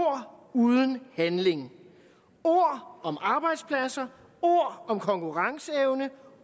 uden handling ord om arbejdspladser ord om konkurrenceevne